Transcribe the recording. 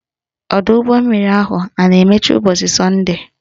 Ọdọụgbọmmiri ahụ a na-emechi ụbọchị sọnde?